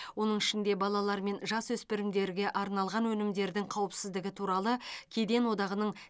оның ішінде балалар мен жасөспірімдерге арналған өнімдердің қауіпсіздігі туралы кеден одағының